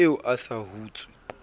ha eo a sa hutse